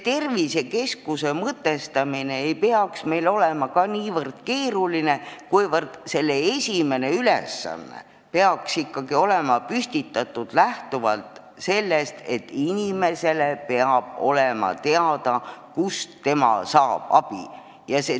Tervisekeskuse mõtestamine ei peaks olema ka niivõrd keeruline, kuivõrd esimene ülesanne peaks ikkagi olema püstitatud lähtuvalt sellest, et inimesel peab olema teada, kust ta abi saab.